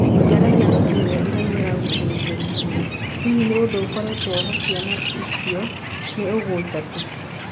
Ciana cia Nĩgeria irĩa iragũcĩrĩirie Rihanna, Hihi ni ũndũ ukoretwo ho ciana icio nĩ igũta tu.